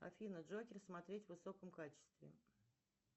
афина джокер смотреть в высоком качестве